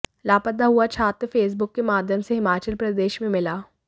लापता हुआ छात्र फेसबुक के माध्यम से हिमाचल प्रदेश में मिला